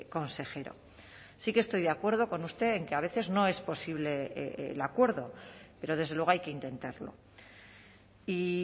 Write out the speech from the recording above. consejero sí que estoy de acuerdo con usted en que a veces no es posible el acuerdo pero desde luego hay que intentarlo y